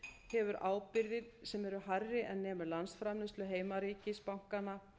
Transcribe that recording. hefur ábyrgðir sem eru hærri en nemur landsframleiðslu heimaríkis bankanna